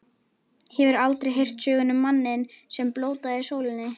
Hefurðu aldrei heyrt söguna um manninn, sem blótaði sólinni.